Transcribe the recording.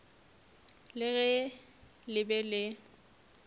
le ge le be le